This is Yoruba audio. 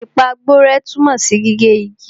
Ìpàgborẹ́ tunmo si gige igi.